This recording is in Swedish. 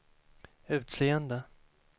utseende